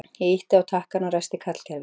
Ég ýtti á takkann og ræsti kallkerfið.